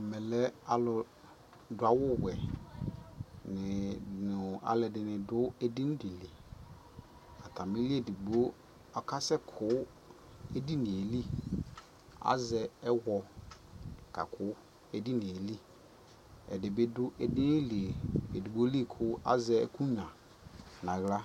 Ɛmɛ lɛ alʋ dʋ awuwɛɛdini nʋ alʋɔdι nι dʋ edini dι lι Atamili edigbo ɔkasɛkʋ edini yɛ lι Azɛ ɛwɔ kakʋ edini yɛ lι Ɛdι bι edini lι edigbo lι kʋ azɛ ɛkʋnyua naɣla